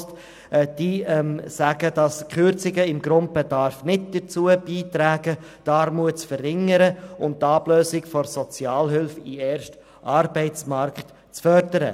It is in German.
Die zuständigen Personen sagten, die Kürzungen beim Grundbedarf würden nicht dazu beitragen, die Armut zu verringern und die Ablösung von der Sozialhilfe und den Übergang in den ersten Arbeitsmarkt zu fördern.